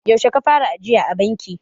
yaushe ka fara ajiya a banki?